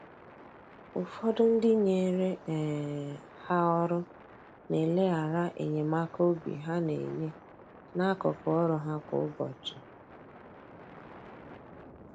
Ụfọdụ ndị nyere um ha ọrụ na eleghara enyemaka obi ha na-enye, n’akụkụ ọrụ ha kwa ụbọchị.